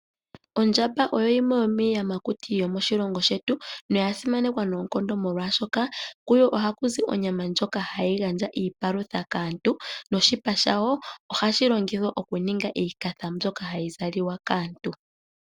Ondjamba oyo yimwe yomiiyamakuti yomoshilongo shetu, noya simanekwa noonkondo molwaashoka kuyo ohaku zi onyama ndjoka hayi gandja iipalutha kaantu noshipa shawo ohashi longithwa okuninga iikafa mbyoka hayi zaliwa kaantu.